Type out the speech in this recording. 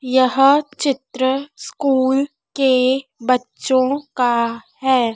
यहां चित्र स्कूल के बच्चों का है।